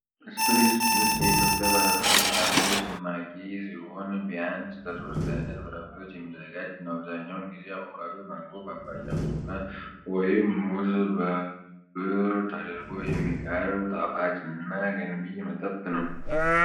ስፕሪስ ጁስ የኢትዮጵያ ባለብዙ ፍራፍሬ ጭማቂ ሲሆን፣ ቢያንስ ከሶስት ዓይነት ፍራፍሬዎች የሚዘጋጅ ነው። አብዛኛውን ጊዜ አቮካዶ፣ ማንጎ፣ ፓፓያ፣ ብርቱካን ወይም ሙዝ በንብርብር ተደርጎ የሚቀርብ ጣፋጭ እና ገንቢ መጠጥ ነው።